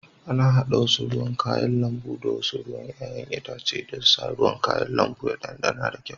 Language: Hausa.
Ana hada wasu ruwan kayan lambu da wasu ruwan 'ya'yan itace don sa ruwan kayan lambu ya ɗanɗana da kyau